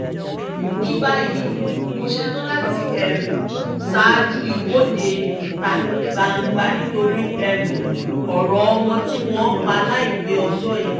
ní báyìí mo ṣetán láti ṣáájú ìwọ́de ìta gbangba nítorí ọ̀rọ̀ ọmọ tí wọ́n pa láìpẹ́ ọjọ́ yìí